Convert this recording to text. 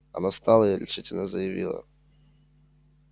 она встала и решительно заявила